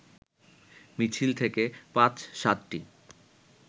মিছিল থেকে ৫-৭টি